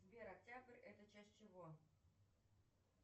сбер октябрь это часть чего